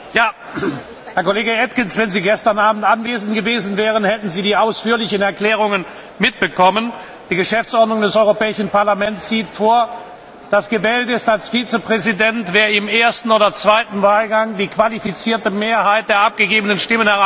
Herr Kollege Atkins, wenn Sie gestern Abend anwesend gewesen wären, hätten Sie die ausführlichen Erklärungen mitbekommen. Die Geschäftsordnung des Europäischen Parlaments sieht vor, dass als Vizepräsident gewählt ist, wer im ersten oder zweiten Wahlgang die qualifizierte Mehrheit der abgegeben Stimmen erreicht hat.